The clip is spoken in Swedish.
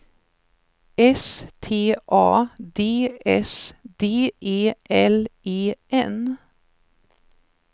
S T A D S D E L E N